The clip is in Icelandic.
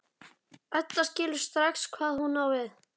Edda skilur strax hvað hún á við.